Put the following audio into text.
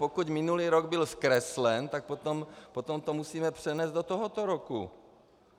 Pokud minulý rok byl zkreslen, tak potom to musíme přenést do tohoto roku.